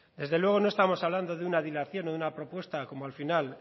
desde luego no estamos hablando de una dilación o de una propuesta como al final